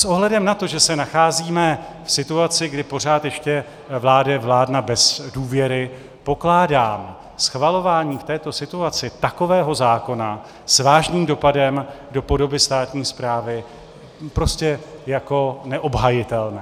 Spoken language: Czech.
S ohledem na to, že se nacházíme v situaci, kdy pořád ještě vládne vláda bez důvěry, pokládám schvalování v této situaci takového zákona s vážným dopadem do podoby státní správy prostě jako neobhajitelné.